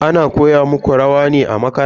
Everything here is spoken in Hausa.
Ana koya muku rawa ne a makaranta?